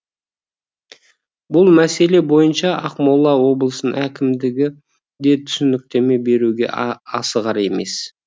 бұл мәселе бойынша ақмола облысының әкімдігі де түсініктеме беруге асығар емес